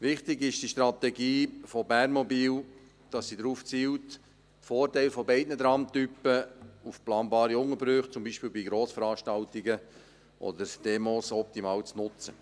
Wichtig ist, dass die Strategie von Bernmobil darauf zielt, die Vorteile beider Tramtypen auf planbare Unterbrüche, wie beispielsweise bei Grossveranstaltungen oder Demos, optimal zu nutzen.